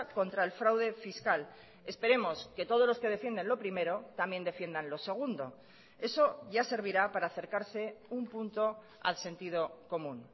contra el fraude fiscal esperemos que todos los que defienden lo primero también defiendan lo segundo eso ya servirá para acercarse un punto al sentido común